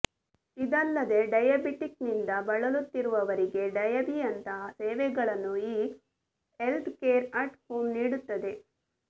ಇದಲ್ಲದೆ ಡಯಾಬಿಟಿಕ್ನಿಂದ ಬಳಲುತ್ತಿರುವವರಿಗೆ ಡಯಾಬೀಯಂತಹ ಸೇವೆಗಳನ್ನು ಈ ಹೆಲ್ತ್ಕೇರ್ ಅಟ್ ಹೋಂ ನೀಡುತ್ತದೆ